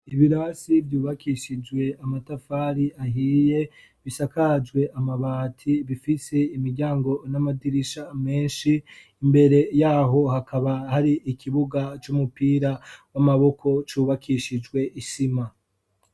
Ibirasi byubakishijwe amatafari ahiye bisakajwe amabati bifise imiryango n'amadirisha menshi imbere yaho hakaba hari ikibuga c'umupira w'amaboko cubakishijwe isima.